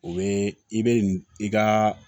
O bɛ i bɛ i ka